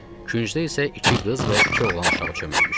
Küncdə isə iki qız və iki oğlan uşağı çöməlmişdi.